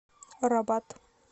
рабат